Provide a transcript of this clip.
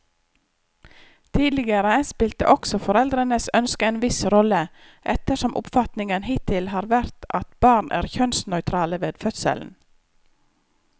Tidligere spilte også foreldrenes ønske en viss rolle, ettersom oppfatningen hittil har vært at barn er kjønnsnøytrale ved fødselen.